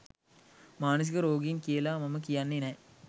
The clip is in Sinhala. මානසික රෝගීන් කියල මම කියන්නේ නෑ.